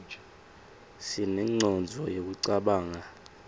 sinengcondvo yekucabanga